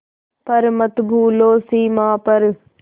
पर मत भूलो सीमा पर